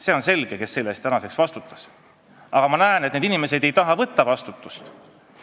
See on selge, kes selle eest vastutas, aga ma näen, et need inimesed ei taha vastutust võtta.